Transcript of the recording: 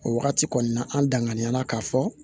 O wagati kɔni na an danŋana la k'a fɔ